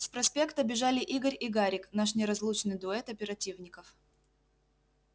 с проспекта бежали игорь и гарик наш неразлучный дуэт оперативников